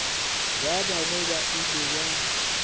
ba bangwe ba ile ba